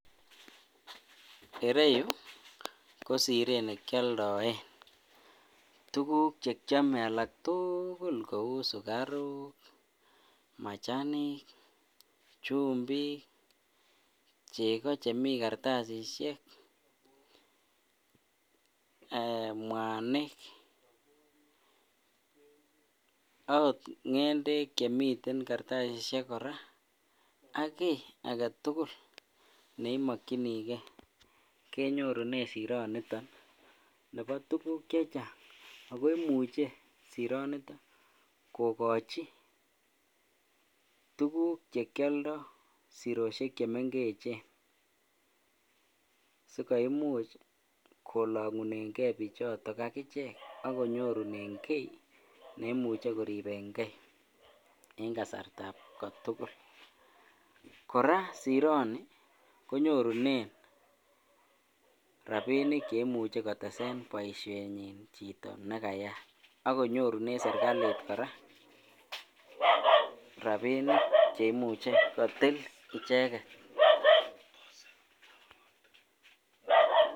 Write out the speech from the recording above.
Ireyu ko sireet nekioldoen tukuk chekiome alak tukul kouu sukaruk, machanik, chumbik, chekoo chemii kartasishek, mwanik oot ng'endek chemiten kartasishek ak kii aketukul neimokyinikee kenyorunen siro niton nebo tukuk chechang ak ko imuche sironiton kokochi tukuk chekioldo siroshek chemeng'echen sikoimuch kolong'uneng'e bichoton akichek akonyorunen kii neimuche koribeng'e en kasartab kotukul, kora sironi konyorunen rabinik cheimuche kotesen boishenyin chito nekayat ak konyorunen serikalit kora rabinik cheimuche kotil icheket.